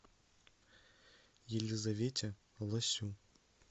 елизавете лосю